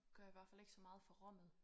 Gør i hvert fald ikke så meget for rummet